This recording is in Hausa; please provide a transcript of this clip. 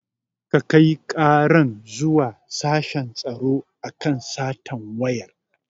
Kakai karan zuwa sashen tsaro akan satan wayan